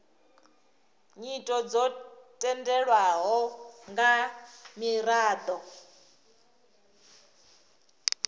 nyito dzo tendelwaho nga miraḓo